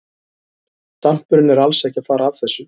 Dampurinn er alls ekki að fara af þessu.